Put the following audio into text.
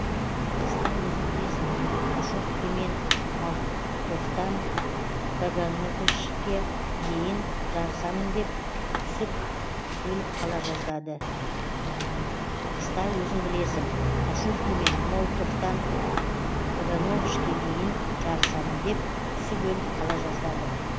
қыста өзің білесің кашовкемен молтовтан кагановышке дейін жарысамын деп үсіп өліп қала жаздады